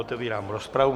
Otevírám rozpravu.